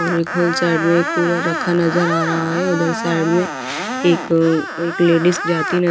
और एक whole side में एक कूलर रखा नजर आ रहा है उधर साइड में एक एक लेडीस जाती न --